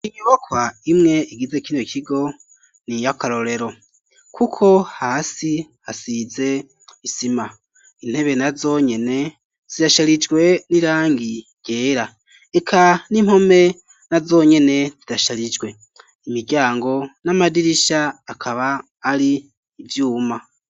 Inyubakwa imwe igize kino kigo niya karorero kuko hasi hasize isima intebe na zonyene zirasharijwe n'irangi ryera eka n'impome na zonyene zirasharijwe, imiryango n'amadirisha akaba ari ivyuma.